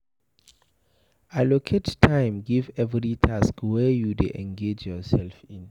Allocate time give every task wey you dey engage yourself in